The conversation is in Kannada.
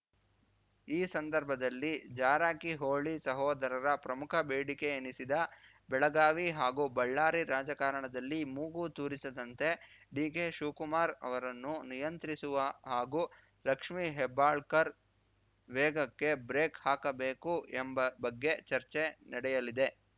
ಈ ಸಂದರ್ಭದಲ್ಲಿ ಜಾರಕಿಹೊಳಿ ಸಹೋದರರ ಪ್ರಮುಖ ಬೇಡಿಕೆಯೆನಿಸಿದ ಬೆಳಗಾವಿ ಹಾಗೂ ಬಳ್ಳಾರಿ ರಾಜಕಾರಣದಲ್ಲಿ ಮೂಗು ತೂರಿಸದಂತೆ ಡಿಕೆ ಶಿವ್ ಕುಮಾರ್‌ ಅವರನ್ನು ನಿಯಂತ್ರಿಸುವ ಹಾಗೂ ಲಕ್ಷ್ಮೇ ಹೆಬ್ಬಾಳಕರ್‌ ವೇಗಕ್ಕೆ ಬ್ರೇಕ್‌ ಹಾಕಬೇಕು ಎಂಬ ಬಗ್ಗೆ ಚರ್ಚೆ ನಡೆಯಲಿದೆ